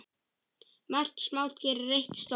Margt smátt gerir eitt stórt.